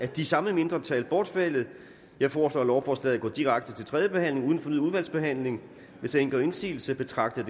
det samme mindretal bortfaldet jeg foreslår at lovforslaget går direkte til tredje behandling uden fornyet udvalgsbehandling hvis ingen gør indsigelse betragter